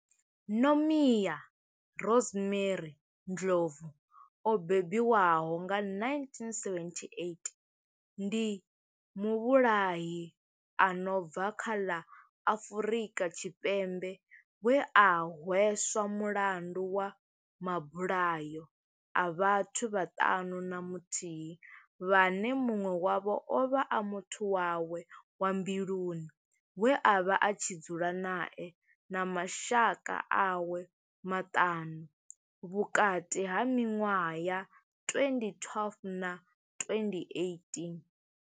Nomia Rosemary Ndlovu o bebiwaho nga 1978 ndi muvhulahi a no bva kha ḽa Afurika Tshipembe we a hweswa mulandu wa mabulayo a vhathu vhaṱanu na muthihi vhane munwe wavho ovha a muthu wawe wa mbiluni we avha a tshi dzula nae na mashaka awe maṱanu vhukati ha minwaha ya 2012 na 2018.